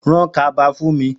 Ràn kàbá fún mi